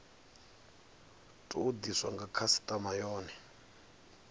tou diswa nga khasitama yone